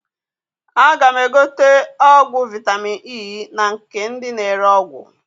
A ga m egote ọgwụ vitamin E na nke ndị na ere ọgwụ